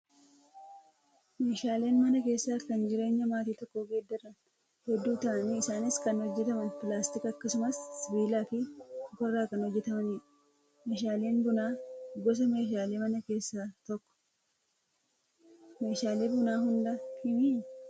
Meeshaaleen mana keessaa kan jireenya maatii tokkoo geeddaran hedduu ta'anii isaanis kan hojjataman pilaastika akkasumas sibiilaa fi mukarraa kan hojjatamanidha. Meeshaaleen bunaa gosa meeshaalee manaa keessaa tokko. Meeshaalee bunaa hundaa himi?